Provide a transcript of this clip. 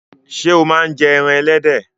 Ṣé o máa ń jẹ ẹran ẹlẹ́dẹ̀?